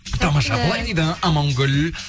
тамаша былай дейді амангүл